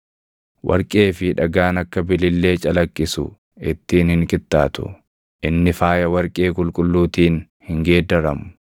Warqee fi dhagaan akka bilillee calaqqisu ittiin hin qixxaatu; inni faaya warqee qulqulluutiin hin geeddaramu.